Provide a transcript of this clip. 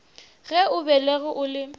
ge o belegwe o le